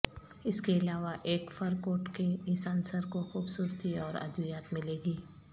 اس کے علاوہ ایک فر کوٹ کے اس عنصر کو خوبصورتی اور ادویات ملے گی